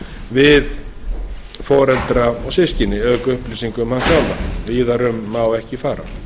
við foreldra og systkini auk upplýsinga um hann sjálfan víðar um má ekki fara